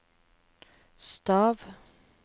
stav